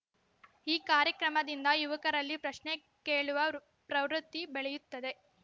ಈ ಕಾರ್ಯಕ್ರಮದಿಂದ ಯುವಕರಲ್ಲಿ ಪ್ರಶ್ನೆ ಕೇಳುವ ಪ್ರವೃತ್ತಿ ಬೆಳೆಯುತ್ತದೆ